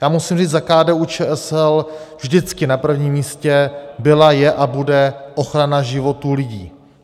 Já musím říct za KDU-ČSL, vždycky na prvním místě byla, je a bude ochrana životů lidí.